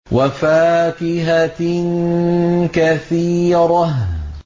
وَفَاكِهَةٍ كَثِيرَةٍ